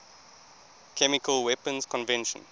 chemical weapons convention